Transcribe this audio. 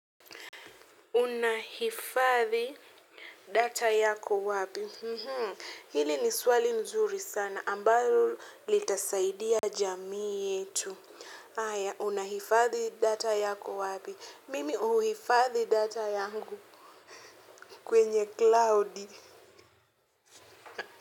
Unahifadhi data yako wapi hili ni swali nzuri sana ambalo litasaidia jamii yetu haya unahifadhi data yako wapi mimi huhifadhi data yangu kwenye klaudi.